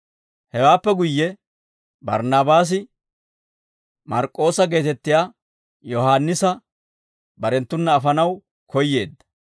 Hewaappe guyye Barnaabaasi Mark'k'oossa geetettiyaa Yohaannisa barenttuna afanaw koyyeedda.